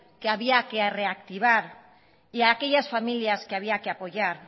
que había que reactivar y aquellas familias que había que apoyar